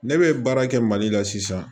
Ne bɛ baara kɛ mali la sisan